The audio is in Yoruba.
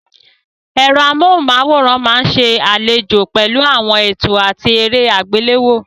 Ẹ̀rọ amóhùnmáwòrán máa ń ṣe àlejò pẹ̀lú àwọn ètò àti eré àgbéléwò.